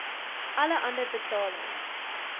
alle ander betalings